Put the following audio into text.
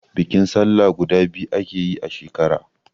Bikin sallah guda biyu ake yi a shekara